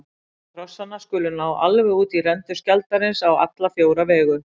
Armar krossanna skulu ná alveg út í rendur skjaldarins á alla fjóra vegu.